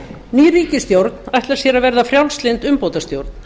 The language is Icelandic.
ný ríkisstjórn ætlar sér að verða frjálslynd umbótastjórn